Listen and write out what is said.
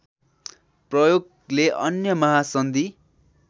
प्रयोगले अन्य महासन्धि